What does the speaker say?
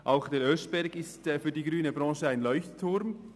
Auch der Oeschberg ist für die grüne Branche ein Leuchtturm.